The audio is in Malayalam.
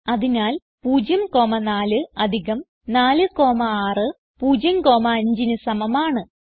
അതിനാൽ 0 4 4 6 0 5 ന് സമമാണ്